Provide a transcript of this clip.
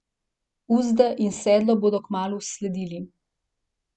Uzde in sedlo bodo kmalu sledili.